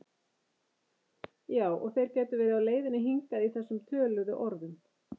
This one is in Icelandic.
Já og þeir gætu verið á leiðinni hingað í þessum töluðu orðum